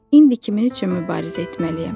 İndi kimin üçün mübarizə etməliyəm?